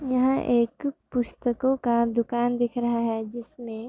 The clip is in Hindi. यह एक पुस्तकों का दुकान दिख रहा है जिसमे --